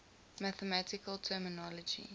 mathematical terminology